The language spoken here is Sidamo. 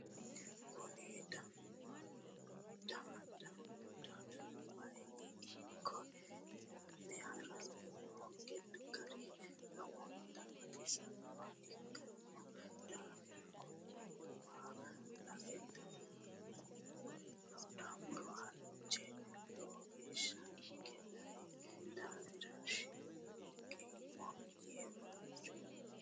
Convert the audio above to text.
Kunni daadano wayi Ike wo'me haranni noo gari lowontanni baxisanoha ikino daafira Kone waa lae daahamora halche lowogeesha Ike dayino daafiri siriqeemo yee waajamo